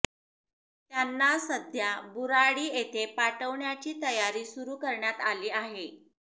त्यांना सध्या बुराडी येथे पाठवण्याची तयारी सुरु करण्यात आली आहे